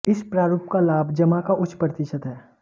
इस प्रारूप का लाभ जमा का उच्च प्रतिशत है